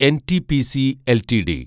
NTPC LTD